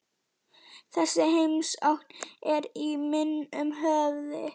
Þessi heimsókn er í minnum höfð.